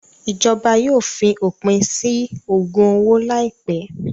Ìjọba yóò fi òpin sí ògùn owó láìpẹ́.